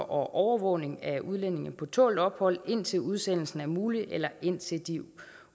overvågning af udlændinge på tålt ophold indtil udsendelsen er mulig eller indtil de